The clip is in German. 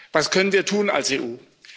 Was können wir tun als EU?